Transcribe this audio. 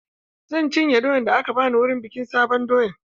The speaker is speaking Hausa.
Zan cinye doyan da aka bani wurin bikin sabon doya.